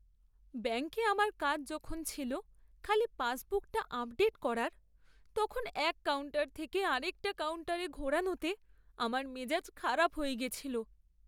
ব্যাংকে আমার কাজ যখন ছিল খালি পাসবুকটা আপডেট করার, তখন এক কাউন্টার থেকে আরেকটা কাউন্টারে ঘোরানোতে আমার মেজাজ খারাপ হয়ে গেছিল।